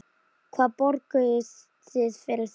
Hvað borguðuð þið fyrir þetta?